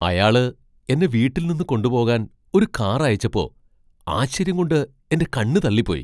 അയാള് എന്നെ വീട്ടിൽ നിന്ന് കൊണ്ടുപോകാൻ ഒരു കാർ അയച്ചപ്പോ ആശ്ചര്യം കൊണ്ട് എന്റെ കണ്ണ് തള്ളിപ്പോയി.